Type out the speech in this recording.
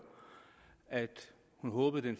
høre at hun håbede